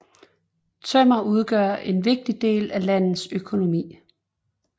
Tømmer udgør en vigtig del af landets økonomi